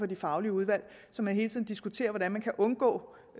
de faglige udvalg så man hele tiden diskuterer hvordan man kan undgå